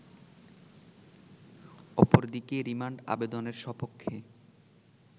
অপরদিকে রিমান্ড আবেদনের স্বপক্ষে